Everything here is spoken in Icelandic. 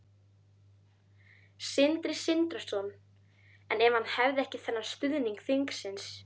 Sindri Sindrason: En ef hann hefði ekki þennan stuðning þingsins?